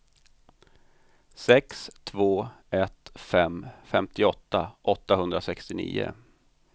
sex två ett fem femtioåtta åttahundrasextionio